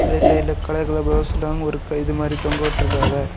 இங்க சைடுல colour colour பிளவுஸெல்லாம் இருக்கு இது மாறி தொங்கவுட்டுருக்கவா.